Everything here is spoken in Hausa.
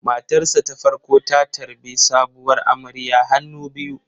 Matarsa ​​ta farko ta tarbi sabuwar amarya hannu biyu.